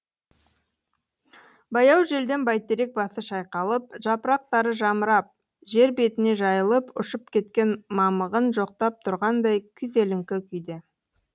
баяу желден бәйтерек басы шайқалып жапырақтары жамырап жер бетіне жайылып ұшып кеткен мамығын жоқтап тұрғандай күйзеліңкі күйде